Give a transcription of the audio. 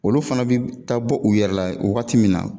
Olu fana bɛ taa bɔ u yɛrɛ la waati min na